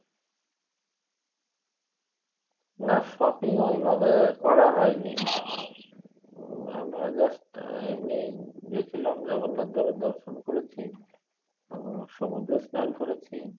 না shopping ঐভাবে করা হয় নি আমরা just আহ এমনি গেছিলাম জগন্নাথ দেবের দর্শন করেছি ও সমুদ্রে স্নান করেছি